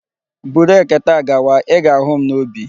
Buru ekete a gawa! I ga-ahu m n'ubi.